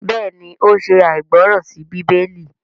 béèni o ṣe aìgbọràn sí Bíbélì.